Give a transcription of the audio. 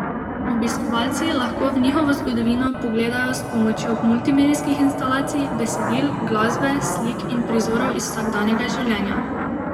Obiskovalci lahko v njihovo zgodovino pogledajo s pomočjo multimedijskih instalacij, besedil, glasbe, slik in prizorov iz vsakdanjega življenja.